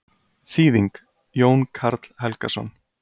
Þýðing: Jón Karl Helgason.